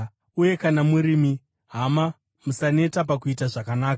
Uye kana murimi, hama, musaneta pakuita zvakanaka.